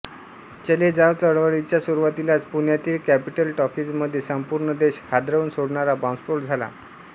चले जाव चळवळीच्या सुरुवातीलाच पुण्यातील कॅपिटॉल टॉकीजमध्ये संपूर्ण देश हादरवून सोडणारा बॉंबस्फोट झाला